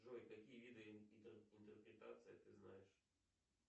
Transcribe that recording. джой какие виды интерпретации ты знаешь